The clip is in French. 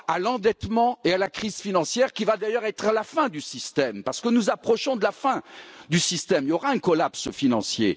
À l'endettement et à la crise financière, qui va d'ailleurs être la fin du système, parce que nous approchons de la fin du système, il y aura un effondrement financier.